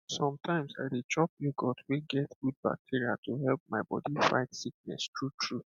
sometimes i dey chop yoghurt wey get good bacteria to help my body fight sickness truetrue